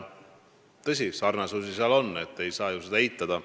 Tõsi, sarnasust on, ei saa eitada.